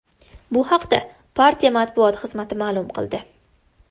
Bu haqda partiya matbuot xizmati ma’lum qildi.